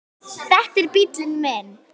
Þetta er bíllinn minn